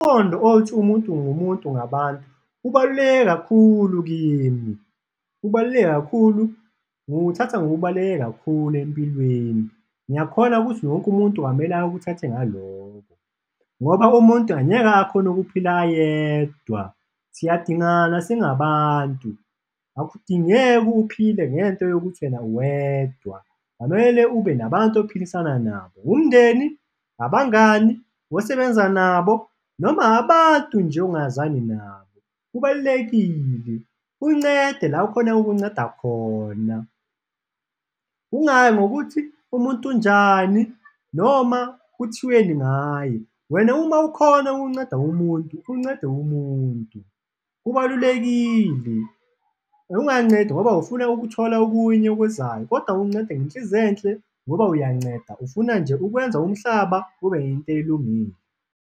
Qondo othi umuntu ngumuntu ngabantu ubaluleke kakhulu kimi, ubaluleke kakhulu ngiwuthatha ngokubaluleke kakhulu empilweni, ngiyakholwa ukuthi wonke umuntu kwamele awuthathe ngaloko ngoba umuntu angeke akhone ukuphila yedwa, siyadingana singabantu, akudingeki uphile ngento yokuthi wena uwedwa, kwamele ube nabantu ophilisana nabo, umndeni, abangani, osebenza nabo noma abantu nje ongazwani nabo, kubalulekile. Uncede la ukhona ukunceda khona, ungayi ngokuthi umuntu unjani noma kuthiweni ngaye, wena uma ukhona ukunceda umuntu uncede umuntu, kubalulekile, ungancedi ngoba ufuna ukuthola okunye okuzayo kodwa ukuncede ngenhliziyo enhle ngoba uyanceda ufuna nje ukwenza umhlaba ube into elungile.